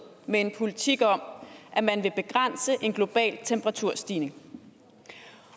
med en politik om at man vil begrænse en global temperaturstigning